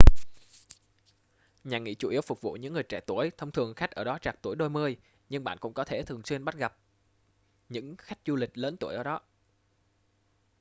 nhà nghỉ chủ yếu phục vụ những người trẻ tuổi thông thường khách ở đó trạc tuổi đôi mươi nhưng bạn cũng có thể thường xuyên bắt gặp những khách du lịch lớn tuổi ở đó